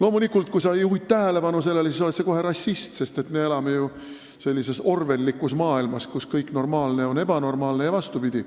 Kui sa sellele tähelepanu juhid, siis oled sa loomulikult kohe rassist, sest me elame ju sellises orwellilikus maailmas, kus kõik normaalne on ebanormaalne ja vastupidi.